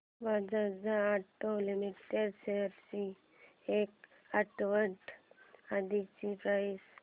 Bajaj auto limited shares ची एक आठवड्या आधीची प्राइस